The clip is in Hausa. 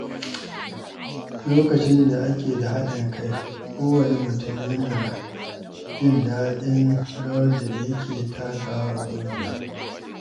Lokacin da ake da haɗin kai, kowanne mutum yana jin daɗin rawar da yake takawa a ƙungiya.